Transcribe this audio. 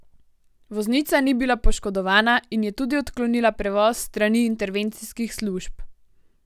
Voznica ni bila poškodovana in je tudi odklonila prevoz s strani intervencijskih služb.